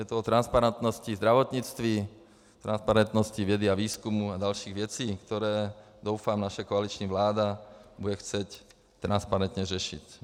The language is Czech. Je to o transparentnosti zdravotnictví, transparentnosti vědy a výzkumu a dalších věcí, které doufám naše koaliční vláda bude chtít transparentně řešit.